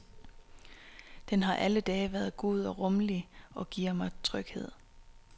Den har alle dage været god og rummelig og giver mig tryghed.